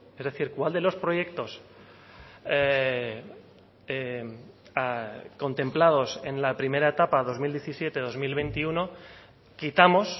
es decir cuál de los proyectos contemplados en la primera etapa dos mil diecisiete dos mil veintiuno quitamos